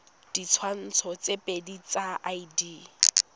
ditshwantsho tse pedi tsa id